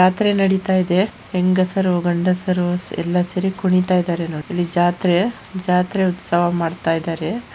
ಜಾತ್ರೆ ನಡಿತಾ ಇದೆ ಹೆಂಗಸರು ಗಂಡಸರು ಎಲ್ಲಾ ಸೇರಿ ಕುಣಿತ ಇದ್ದಾರೆ ನೋಡ್. ಇಲ್ಲಿ ಜಾತ್ರೆ ಜಾತ್ರೆ ಉತ್ಸವ ಮಾಡ್ತಾ ಇದ್ದಾರೆ.